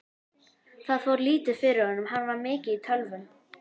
Það fór lítið fyrir honum, hann var mikið í tölvum.